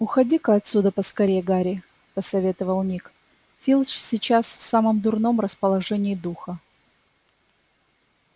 уходи-ка отсюда поскорее гарри посоветовал ник филч сейчас в самом дурном расположении духа